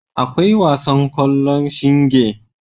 Akwai wasan kwallon shinge.